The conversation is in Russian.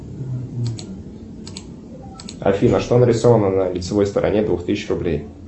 афина что нарисовано на лицевой стороне двух тысяч рублей